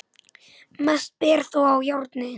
Mest ber þó á járni.